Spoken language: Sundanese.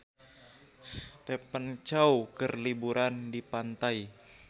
Stephen Chow keur liburan di pantai